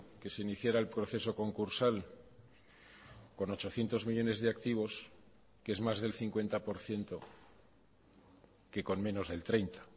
que se iniciara el proceso concursal con ochocientos millónes de activos que es más del cincuenta por ciento que con menos del treinta